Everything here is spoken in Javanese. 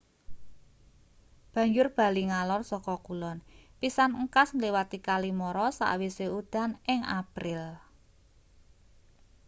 banjur bali ngalor saka kulon pisan engkas ngliwati kali mara sakwise udan ing april